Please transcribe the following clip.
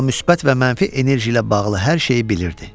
Amma müsbət və mənfi enerji ilə bağlı hər şeyi bilirdi.